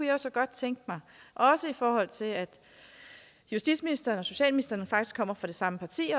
jeg så godt tænke mig også i forhold til at justitsministeren og socialministeren faktisk kommer fra det samme parti